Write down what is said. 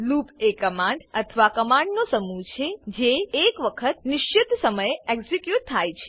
loop એ command અથવા command નો સમૂહ છે વખત એક નિશ્ચિત સમયે એક્ઝિક્યુટથયા છે